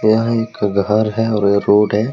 यहां एक घर है और ये रोड है।